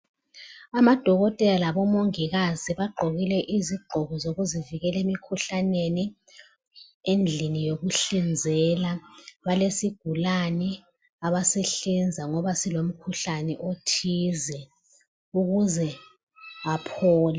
Amadokotela labomongikazi bagqokile izigqoko zokuzivikela emikhuhlaneni. Endlini yokuhlinzela ,balesigulane abasihlinza ngoba silomkhuhlani othize ukuze aphole.